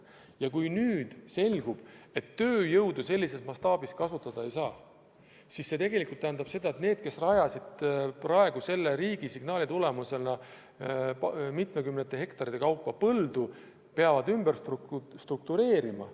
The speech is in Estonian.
Ja kui nüüd selgub, et tööjõudu vajalikus mastaabis kasutada ei saa, siis see tähendab seda, et need, kes rajasid selle riigi signaali tulemusena mitmekümnete hektarite kaupa põldu, peavad ümber struktureerima.